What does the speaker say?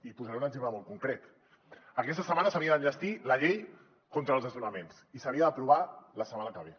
i posaré un exemple molt concret aquesta setmana s’havia d’enllestir la llei contra els desnonaments i s’havia d’aprovar la setmana que ve